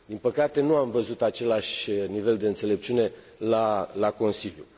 Din păcate, nu am văzut același nivel de înțelepciune la Consiliu.